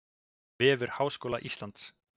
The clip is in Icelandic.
Vefur Háskóla Íslands.